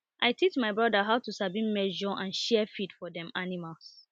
i teach my brother how to sabi measure and share feed for dem animals